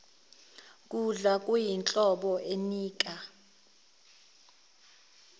kudla kuyinhlobo enika